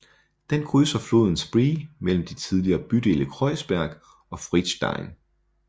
Den krydser floden Spree mellem de tidligere bydele Kreuzberg og Friedrichshain